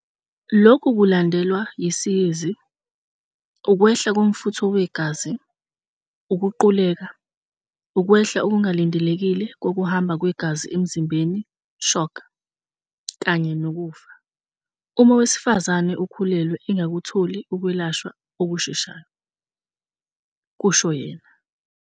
"Lokhu kulandelwa yisiyezi, ukwehla komfutho wegazi, ukuquleka, ukwehla okungalindelekile kokuhamba kwegazi emzimbeni, shock, kanye nokufa, uma owesifazane okhulelwe engakutholi ukwelashwa okusheshayo," kusho yena.